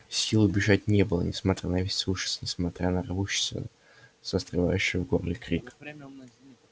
сил убежать не было несмотря на весь ужас несмотря на рвущийся застревающий в горле крик